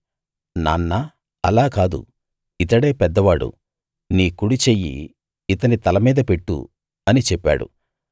నాన్నా అలా కాదు ఇతడే పెద్దవాడు నీ కుడి చెయ్యి ఇతని తలమీద పెట్టు అని చెప్పాడు